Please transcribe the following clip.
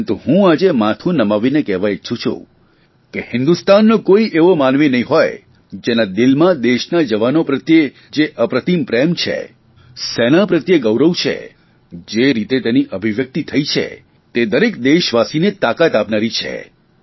પરંતુ હું આજે માથું નમાવીને કહેવા ઇચ્છું છું કે હિંદુસ્તાનનો કોઇ એવો માનવી નહીં હોય જેના દિવસમાં દેશના જવાનો પ્રત્યે જે અપ્રતિમ પ્રેમ છે સેના પ્રત્યે ગૌરવ છે જે રીતે તેની અભિવ્યકિત થઇ છે તે દરેક દેશવાસીને તાકાત આપનારી છે